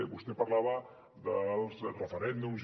vostè parlava dels referèndums